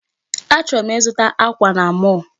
Achọrọ m ịzụta akwa na mall